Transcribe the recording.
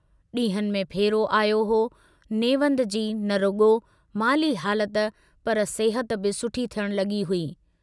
डींहंनि में फेरो आयो हो, नेवंद जी न रुगो, माली हालत पर सेहत बि सुठी थियण लगी हुई।